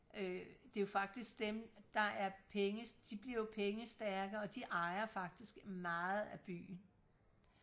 øh det er jo faktisk dem der er penge de bliver jo pengestærke og de ejer faktisk meget af byen